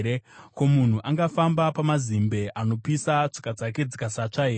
Ko, munhu angafamba pamazimbe anopisa, tsoka dzake dzikasatsva here?